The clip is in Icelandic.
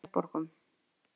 Selborgum